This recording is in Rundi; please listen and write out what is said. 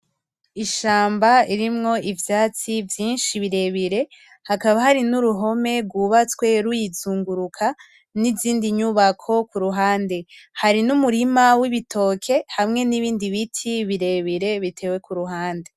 Ishamba irimwo ivyatsi vyinshi birebire hakaba hari n'uruhome rwubatswe ruyizunguruka n'izindi nyubako kuruhande, hari n'umurima w'ibitoke hamwe n'ibindi biti birebire bitewe kuruhande.